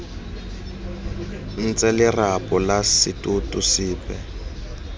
ntshe lerapo la setoto sepe